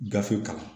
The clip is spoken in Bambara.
Gafe kalan